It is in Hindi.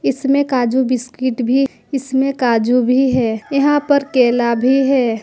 इसमें काजू बिस्कुट भी इसमें काजू भी है यहां पर केला भी है।